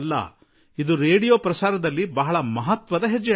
ಇದೊಂದು ಅತಿದೊಡ್ಡ ಮಹತ್ವಪೂರ್ಣ ಹೆಜ್ಜೆಯಾಗಿದೆ